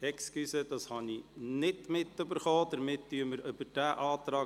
Entschuldigung, das habe ich nicht mitbekommen.